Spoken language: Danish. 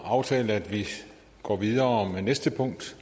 aftalt at vi går videre med næste punkt